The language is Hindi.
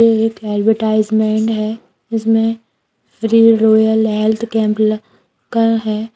ये एक ऐड्वर्टाइज़्मन्ट है जिसमें फ्री रॉयल आल्ट कैम्प ल लगा है।